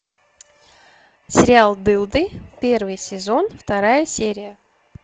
сериал дылды первый сезон вторая серия